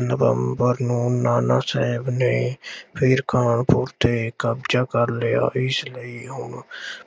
ਨਵੰਬਰ ਨੂੰ ਨਾਨਾ ਸਾਹਿਬ ਨੇ ਫੇਰ ਕਾਨਪੁਰ ਤੇ ਕਬਜ਼ਾ ਕਰ ਲਿਆ। ਇਸ ਲਈ ਉਹ